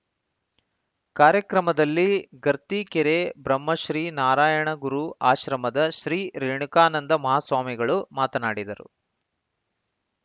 ಕಾರ್ಯಕ್ರಮದಲ್ಲಿ ಗರ್ತಿಕೆರೆ ಬ್ರಹ್ಮಶ್ರೀ ನಾರಾಯಣಗುರು ಆಶ್ರಮದ ಶ್ರೀ ರೇಣುಕಾನಂದ ಮಹಾಸ್ವಾಮಿಗಳು ಮಾತನಾಡಿದರು